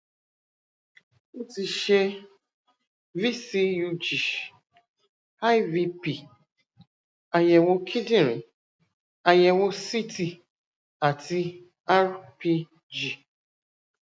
ó ti ṣe vcug ivp àyẹwò kíndìnrín àyẹwò ct àti rpg